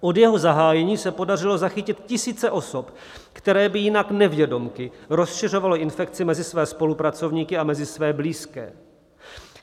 Od jeho zahájení se podařilo zachytit tisíce osob, které by jinak nevědomky rozšiřovaly infekci mezi své spolupracovníky a mezi své blízké.